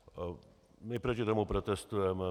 My proti tomu protestujeme.